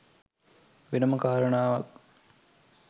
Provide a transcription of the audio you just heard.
වෙනම කාරණාවක්.